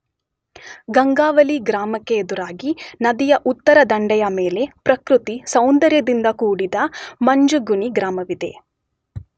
ಗಂಗಾವಳಿ ಗ್ರಾಮಕ್ಕೆದುರಾಗಿ ನದಿಯ ಉತ್ತರ ದಂಡೆಯ ಮೇಲೆ ಪ್ರಕೃತಿ ಸೌಂದರ್ಯದಿಂದ ಕೂಡಿದ ಮಂಜುಗುಣಿ ಗ್ರಾಮವಿದೆ.